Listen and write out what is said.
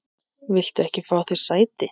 Viltu ekki fá þér sæti?